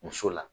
Muso la